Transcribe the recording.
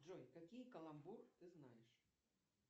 джой какие каламбур ты знаешь